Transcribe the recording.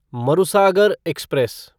Marusagar express